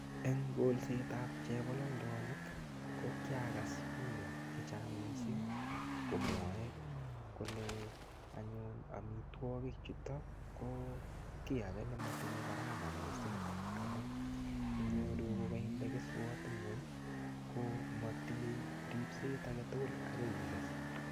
En kolsyet ab chepololdonik ko kiagas bik chechang mising komwoe kole anyun amitwogik chuto ki age nemotinye gharama miising amun inyoru ko kainde keswot ngweny ko motinye ripset age tugul agoi i kes.